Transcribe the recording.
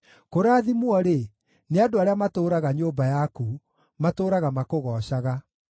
Kũrathimwo-rĩ, nĩ andũ arĩa matũũraga nyũmba yaku; matũũraga makũgoocaga.